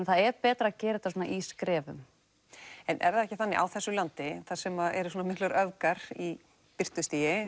það er betra að gera þetta svona í skrefum en er það ekki þannig á þessu landi þar sem eru svona miklar öfgar í birtustigi